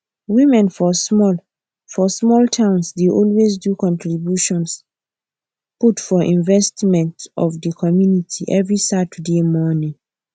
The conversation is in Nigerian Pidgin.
women for small for small towns dey always do contribution put for investment of the community every saturday morning